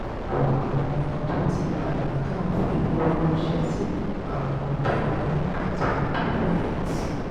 ọ̀pọ̀ àwọn ọmọ tó ti bàlágà ń fi owó ránṣẹ́ sí àwọn òbí wọn nígbà tí wọ́n bá fẹ̀yìn tì